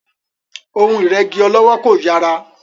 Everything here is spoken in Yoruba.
Ohun ìrẹ́gí ọlọ́wọ́ kò yàrá.